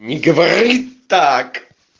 не говори так